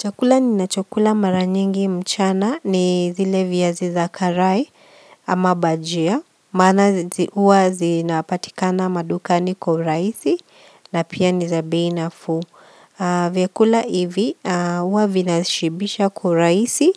Chakula ninachokula mara nyingi mchana ni zile viazi za karai ama bajia. Maana huwa zinapatikana madukani kwa urahisi na pia ni za bei nafuu. Vyakula hivi huwa vinashibisha kwa urahisi